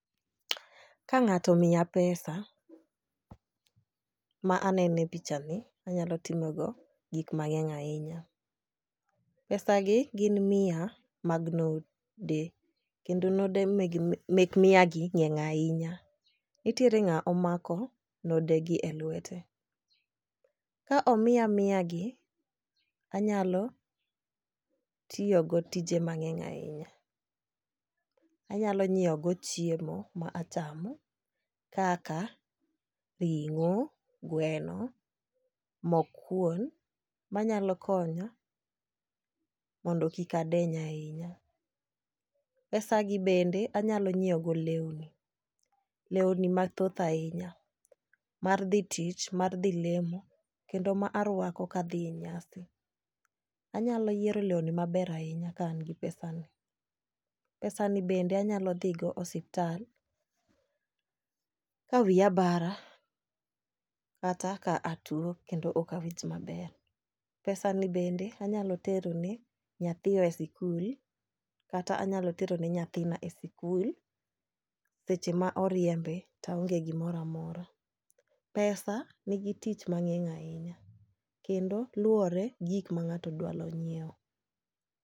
Kang'ato omiya pesa , ma anene picha ni anyalo timo go gik mang'eny ahinya. Pesa gi gin mia mag node kendo node meg mek mia gi ng'eny ahinya nitiere ng'awo mako node gi e;wete . Ka omiya mia gi anyalo tiyo go tije mang'eny ahinya, anyalo nyiewo go chiemo ma achamo kaka ring'o , gweno, mok kuon manyalo konyo mondo kik adeny ahinya. Pesa gi bende anyalo nyiewo go lewni ,lewni mathoth ahinya mar dhi tich , mar dhi lemo kendo ma arwako kadhi e nyasi. Anyalo yiero lewni maber ahinya ka an gi pesa ni .Pesa ni bende anyalo dhi go e osiptal la wiya bara kata ka atuo kendo okawinj maber. Pesa ni bende anyalo tero ne nyathiwa e sikul kata anyalo tero ne nytahina e sikul seche ma oriembe taonge gimoramora. Pesa nigi tich mang'eny ahinya kendo luwore gi gik ma ng'ato dwano nyiew.